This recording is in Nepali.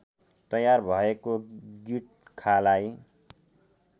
तयार भएको गिट्खालाई